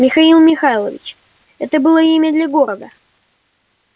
михаил михайлович это было имя для города